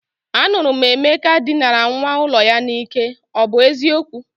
Anuru m Emeka dinara nwa ulo ya n'ike, o bu eziokwu?